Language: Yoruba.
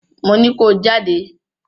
Mo ní ko jáde!